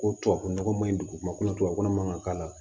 Ko tubabu nɔgɔ ma ɲi dugumakolo tubabu nɔgɔ man kan ka k'a la